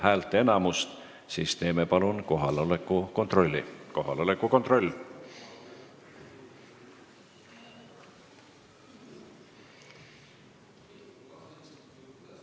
Hääletustulemused Eelnõu poolt hääletas 10 ja vastu oli 14 rahvasaadikut, erapooletuid oli 2.